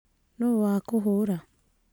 Nũũ wakũhũra